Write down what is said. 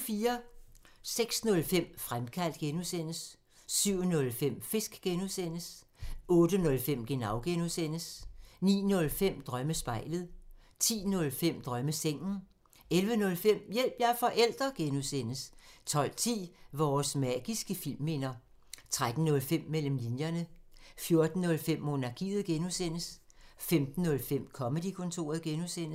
06:05: Fremkaldt (G) 07:05: Fisk (G) 08:05: Genau (G) 09:05: Drømmespejlet 10:05: Drømmesengen 11:05: Hjælp – jeg er forælder! (G) 12:10: Vores magiske fimminder 13:05: Mellem linjerne 14:05: Monarkiet (G) 15:05: Comedy-kontoret (G)